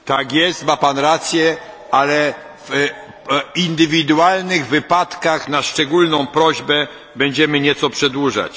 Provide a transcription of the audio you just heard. Tak jest, ma pan rację, ale w indywidualnych wypadkach, na szczególną prośbę, będziemy nieco przedłużać.